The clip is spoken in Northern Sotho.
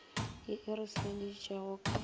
ye e re senyeditšego ka